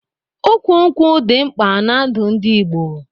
Ụkwụ nkwụ dị mkpa n'ndu ndị Igbo